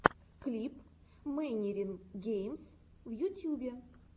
клип мэнирин геймс в ютьюбе